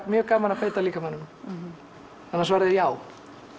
mjög gaman að beita líkamanum þannig að svarið er já